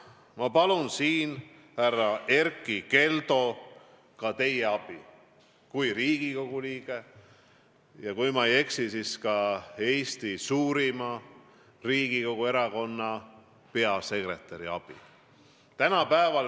Ma palun siin, härra Erkki Keldo, ka teie kui Riigikogu liikme ja kui ma ei eksi, siis ka Riigikogu suurima erakonna peasekretäri abi.